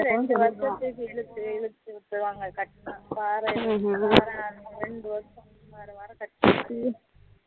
இரண்டு வருஷத்து இழுத்து இழுத்து விட்டுருவாங்க கட்டனும் வார வாரம் இரண்டு வருஷம் வாரம் வாரம் கட்டனும்